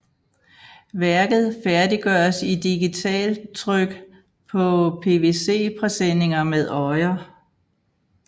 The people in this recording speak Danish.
Værket færdiggøres i digitaltryk på PVC presenninger med øjer